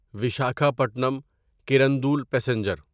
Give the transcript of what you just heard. Visakhapatnam Kirandul passenger